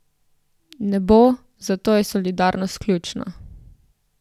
Ne bo, zato je solidarnost ključna.